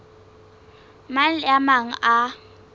mang le a mang a